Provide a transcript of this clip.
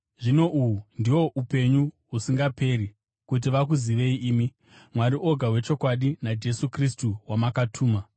Zvino uhu ndihwo upenyu husingaperi: kuti vakuzivei imi, Mwari oga wechokwadi, naJesu Kristu wamakatuma.